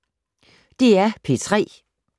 DR P3